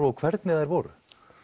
og hvernig þær voru